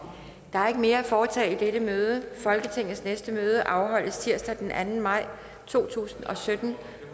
der er ikke mere at foretage i dette møde folketingets næste møde afholdes tirsdag den anden maj to tusind og sytten